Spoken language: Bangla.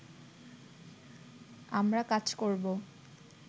আমরা কাজ করব